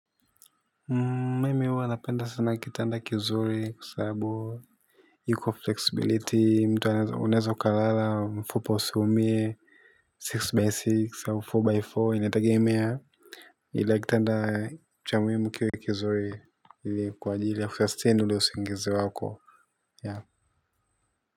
Mimi huwa napenda sana kitanda kizuri kwa sababu iko flexibility mtu anaeza unaeze ukalala mfupa usiumie Six by six au four by four inategemea. Ila kitanda cha muhimu kiwe kizuri kwa ajili ya kusustain ule usingizi wako.